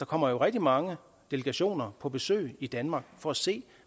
kommer jo rigtig mange delegationer på besøg i danmark for at se